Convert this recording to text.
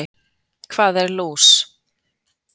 Hvað er lús?